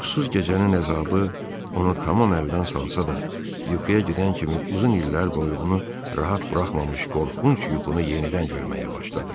Yuxusuz gecənin əzabı onu tamam əldən salsa da, yuxuya gedən kimi uzun illər boyu onu rahat buraxmamış qorxunc yuxunu yenidən görməyə başladı.